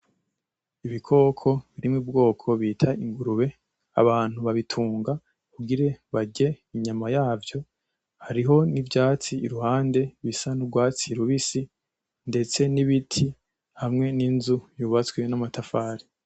Ibikoko biri mubwoko bita ingurube, abantu bayitunga kugira barye inyama yavyo, hariho nivyatsi iruhande bisa nurwatsi rubisi ndetse n'ibiti hamwe n'inzu yubatswe n'amatafari